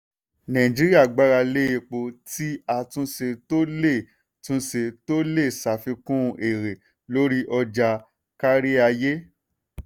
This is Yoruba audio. nàìjíríà gbára lé epo tí a túnṣe tó lè túnṣe tó lè ṣàfikún èrè lórí ọjà káríayé.